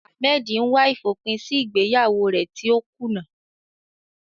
Ahmed ń wá ìfòpin sí ìgbéyàwó rẹ̀ tí ó kùnà.